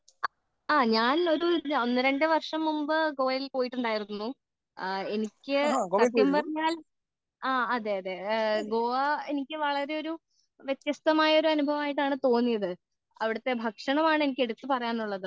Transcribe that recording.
ആ ഞാൻ ഒരു ഒന്നു രണ്ടു വർഷം മുമ്പ് ഗോവയിൽ പോയിട്ടുണ്ടായിരുന്നു എനിക്ക് സത്യം പറഞ്ഞാൽ ആ അതേ അതേ ഗോവ എനിക്ക് വളരെ ഒരു വ്യസ്ത്യസ്തമായ ഒരു അനുഭവമായിട്ടാണ് തോന്നിയത് അവിടത്തെ ഭക്ഷണമാണ് എനിക്ക് എടുത്ത് പറയാനുള്ളത്